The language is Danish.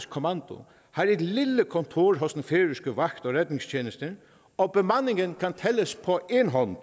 kommando har et lille kontor hos den færøske vagt og redningstjeneste og bemandingen kan tælles på én hånd